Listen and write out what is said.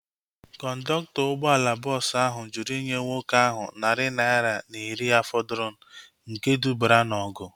Kọndọktọ ụgbọala bọọsu ahu jụrụ inye nwoke ahu narị naira na iri ya fọdụrụ nke dubara na ọgụ